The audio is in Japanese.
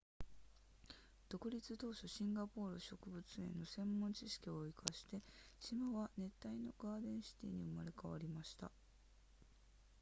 独立当初シンガポール植物園の専門知識を活かして島は熱帯のガーデンシティに生まれ変わりました